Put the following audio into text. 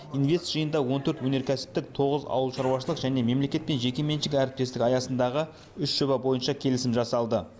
инвест жиында он төрт өнеркәсіптік тоғыз ауылшаруашылық және мемлекет пен жекеменшік әріптестік аясындағы үш жоба бойынша келісім жасалды